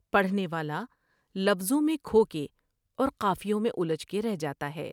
پڑھنے والا لفظوں میں کھو گے اور قافیوں میں الجھ کے رہ جاتا ہے ۔